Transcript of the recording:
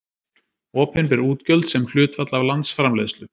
Opinber útgjöld sem hlutfall af landsframleiðslu.